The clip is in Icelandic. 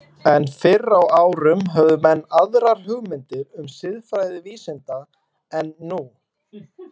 En fyrr á árum höfðu menn aðrar hugmyndir um siðfræði vísinda en nú.